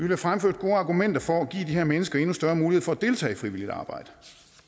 have fremført gode argumenter for at give de her mennesker endnu større mulighed for at deltage i frivilligt arbejde